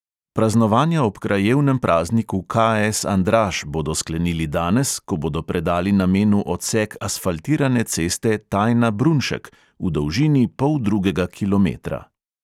Praznovanja ob krajevnem prazniku KS andraž bodo sklenili danes, ko bodo predali namenu odsek asfaltirane ceste tajna-brunšek v dolžini poldrugega kilometra.